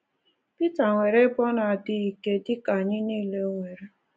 Pita nwere ebe ndị ọ na-adịghị ike, dị ka anyị nile nwere.